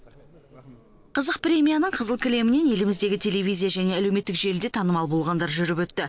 қызық премияның қызыл кілемінен еліміздегі телевизия және әлеуметтік желіде танымал болғандар жүріп өтті